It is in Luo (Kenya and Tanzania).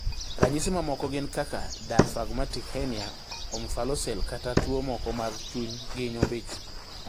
Ranyisi mamoko gin kaka diaphragmatic hernia, omphalocele kata tuo moko mag chuny gi nyombich